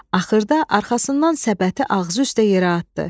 Axırda arxasından səbəti ağzı üstə yerə atdı.